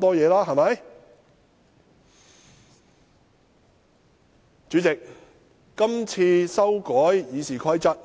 代理主席，今次修改《議事規則》